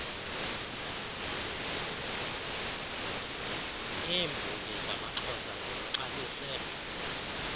iirnbongi zamaxhosa ziluxabise